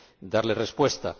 dar respuesta.